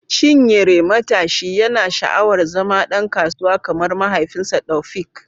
Chinyere, matashi, yana sha’awar zama ɗan kasuwa kamar mahaifinsa, Taofiq.